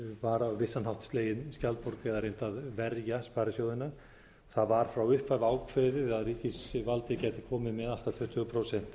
var á vissan hátt slegin skjaldborg eða reynt að verja sparisjóðina það var frá upphafi ákveðið að ríkisvaldið gæti komið með allt að tuttugu prósent stofnfé